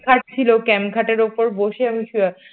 ক্যাম খাট ছিল ক্যাম খাটের উপর বসে বসে আমি সও